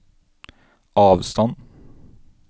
avstand